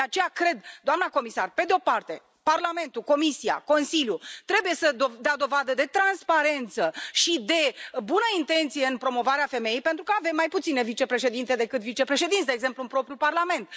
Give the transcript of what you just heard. De aceea cred, doamna comisar, că, pe de o parte, Parlamentul, Comisia și Consiliu, trebuie să dea dovadă de transparență și de bună intenție în promovarea femeii, pentru că avem mai puține vicepreședinte decât vicepreședinți, de exemplu, în propriul Parlament.